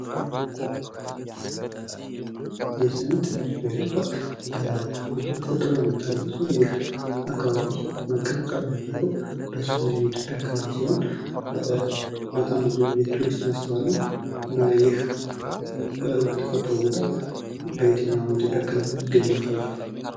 የሴሜን ተራሮች ብሔራዊ ፓርክ በውብ ተፈጥሮ የሚታወቅ ሲሆን ፤ ይህ አካባቢ መቀመጫውን ያደረገው በሰሜኑ የኢትዮጵያ ክፍል ሲሆን ፤ በጣም ብዙ የቱሪስት መስህብ አለው እና ይህ የተፈጥሮ ቦታ በኢትዮጵያ በየትኛው ክልል የሚገኝ ይመስላችኋዋል?